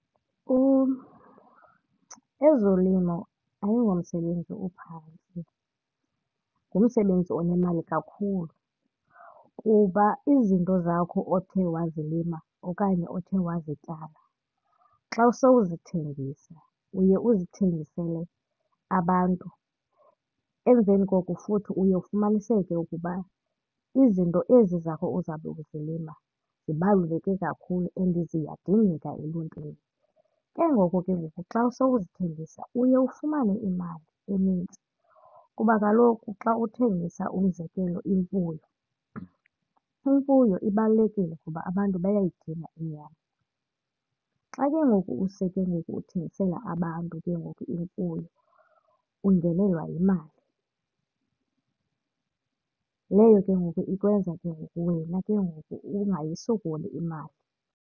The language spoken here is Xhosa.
Ezolimo ayingomsebenzi ophantsi ngumsebenzi, onemali kakhulu kuba izinto zakho othe wazilima okanye othe wazityala xa sowuzithengisa, uye uzithengisele abantu. Emveni koko futhi uye ufumaniseke ukuba izinto ezi zakho uzawube uzilima zibaluleke kakhulu and ziyadingeka eluntwini. Ke ngoku ke ngoku xa sowuzithengisa uye ufumane imali enintsi kuba kaloku xa uthengisa umzekelo imfuyo, imfuyo ibalulekile ngoba abantu bayayidinga inyama. Xa ke ngoku use ke ngoku uthengisela abantu ke ngoku imfuyo ungenelwa yimali, leyo ke ngoku ikwenza ke ngoku wena ke ngoku ungayisokoli imali.